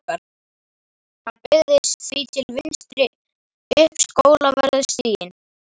Hann beygði því til vinstri upp Skólavörðustíg.